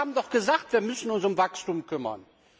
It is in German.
Wir haben doch gesagt, wir müssen uns um das Wachstum kümmern.